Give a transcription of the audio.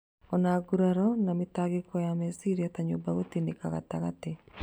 Ona nguraro na mĩtangĩko ya meciria ta nyũmba gũtĩnĩka na gatagatĩ